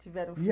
Tiveram filh